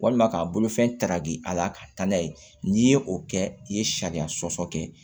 Walima k'a bolofɛn ta ka di a la ka taa n'a ye n'i ye o kɛ i ye sariya sɔsɔ kɛ